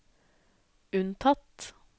unntatt